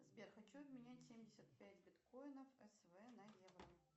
сбер хочу обменять семьдесят пять биткоинов св на евро